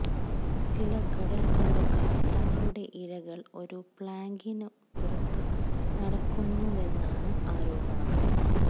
ചില കടൽക്കൊള്ളക്കാർ തങ്ങളുടെ ഇരകൾ ഒരു പ്ലാങ്കിന് പുറത്ത് നടക്കുന്നുവെന്നാണ് ആരോപണം